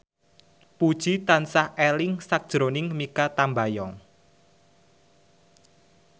Puji tansah eling sakjroning Mikha Tambayong